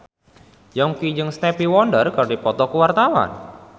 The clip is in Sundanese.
Yongki jeung Stevie Wonder keur dipoto ku wartawan